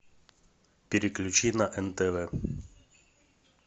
переключи на нтв